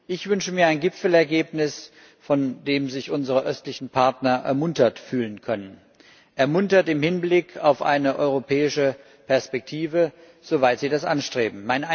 Ich wünsche mir ein Gipfelergebnis, von dem sich unsere östlichen Partner ermuntert fühlen können, ermuntert im Hinblick auf eine europäische Perspektive, soweit sie diese anstreben.